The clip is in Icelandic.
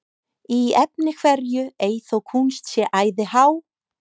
Í efni hverju ei þó kúnst sé æði há,